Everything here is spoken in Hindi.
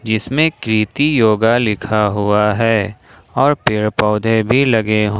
इसमें कृति योगा लिखा हुआ है और पेड़ पौधे भी लगे ह--